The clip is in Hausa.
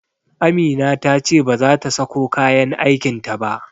Amina ta ce bazata sako kayan aikin ta ba